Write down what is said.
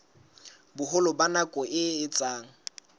boholo ba nako e etsang